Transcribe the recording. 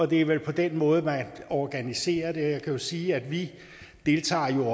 det er vel på den måde man organiserer det jeg kan jo sige at vi